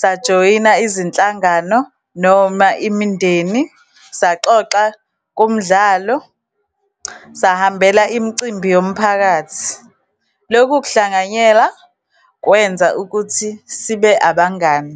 sajoyina izinhlangano, noma imindeni, saxoxa kumdlalo, sahambela imicimbi yomphakathi. Lokhu kuhlanganyela kwenza ukuthi sibe abangani.